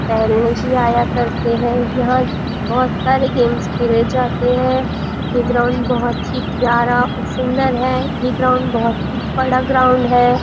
तैरने भी आया करते हैं यहाँ बहुत सारे गेम्स खेले जाते हैं ये ग्राउंड बहुत ही प्यारा और सुंदर है यह ग्राउंड बहुत ही बड़ा ग्राउंड है।